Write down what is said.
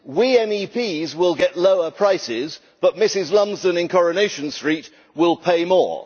We MEPs will get lower prices, but Mrs Lumsden in Coronation Street will pay more.